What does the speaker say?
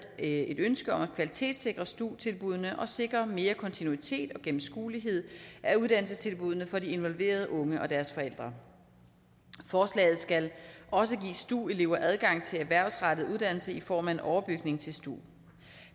et ønske om at kvalitetssikre stu tilbuddene og sikre mere kontinuitet og gennemskuelighed af uddannelsestilbuddene for de involverede unge og deres forældre forslaget skal også give stu elever adgang til erhvervsrettet uddannelse i form af en overbygning til stu